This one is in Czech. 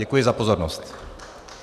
Děkuji za pozornost.